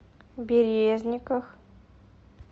березниках